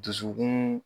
Dusukun